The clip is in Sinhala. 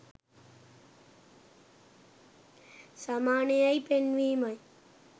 සමාන යැයි පෙන්වීම යි.